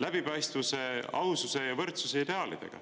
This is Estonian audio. läbipaistvuse, aususe ja võrdsuse ideaalidega.